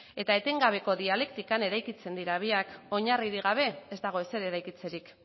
eta etengabeko dialektikak eraikitzen dira biak oinarririk gabe ez dago ezer eraikitzerik